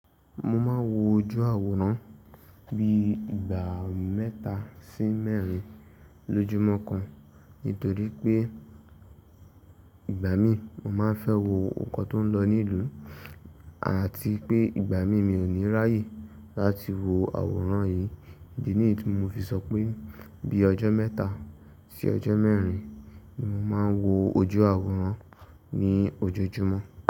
Mo máa wo ojú àwòrán bí i ìgbà mẹ́ta sí mẹ́rin lójúmọ́ kan, nítorí pé ìgbà mí mo máa fẹ́ wo nǹkan tó ń lọ ní ìlú àti pé ìgbà mí mi ò ní ráyì láti wo àwòrán yìí. Ìdí nìyí tí mo fi sọ pé bí i ọjọ́ mẹ́ta sí ọjọ́ mẹ́rin ni mo máa wo ojú àwòrán ní ojoojúmọ́.